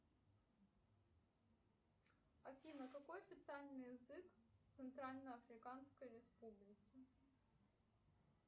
афина какой официальный язык в центрально африканской республике